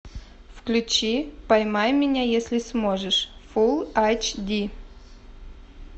включи поймай меня если сможешь фул айч ди